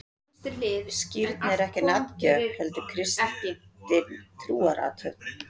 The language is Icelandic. Skírn er ekki nafngjöf, heldur kristin trúarathöfn.